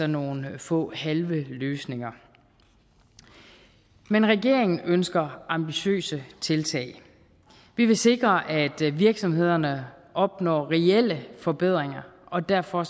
nogle få halve løsninger men regeringen ønsker ambitiøse tiltag vi vil sikre at virksomhederne opnår reelle forbedringer og derfor